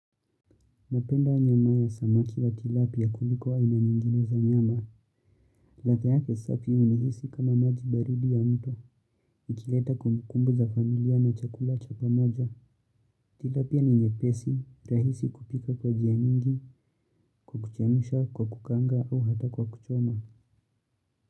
Napenda nyama ya samaki la tilapia kuliko aina nyingine za nyama. Ladha yake safi unihisi kama maji baridi ya mto. Ikileta kumbukumbu za familia na chakula cha pamoja. Tilapia ni nyepesi, rahisi kupika kwa jia nyingi, kwa kuchemusha, kwa kukaanga au hata kwa kuchoma.